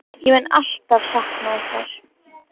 Ég mun alltaf sakna ykkar.